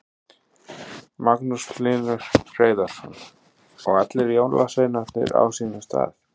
Magnús Hlynur Hreiðarsson: Og allir jólasveinarnir á sínum stað?